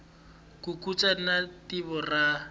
ku katsa ni vito ra